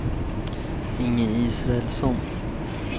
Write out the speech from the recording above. Inge Israelsson